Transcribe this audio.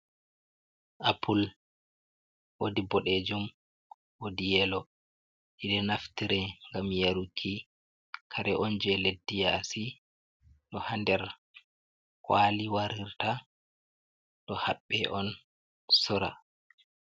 Apple wodi boɗejum wodi yelo ɗiɗo naftire ngam yaruki, kare on je leddi yasi ɗo ha nder kwali warirta ɗo haɓɓe on sora.